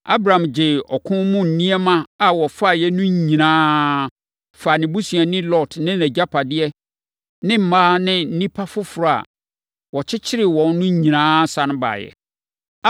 Abram gyee ɔko mu nneɛma a wɔfaeɛ no nyinaa faa ne busuani Lot ne nʼagyapadeɛ ne mmaa ne nnipa foforɔ a wɔkyekyee wɔn no nyinaa sane baeɛ.